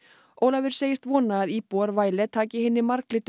Ólafur segist vona að íbúar taki hinni marglitu